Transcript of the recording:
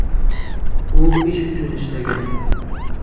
U ish uchun ishlagan.